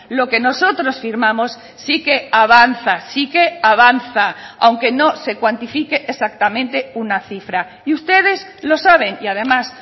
lo que nosotros firmamos sí que avanza sí que avanza aunque no se cuantifique exactamente una cifra y ustedes lo saben y además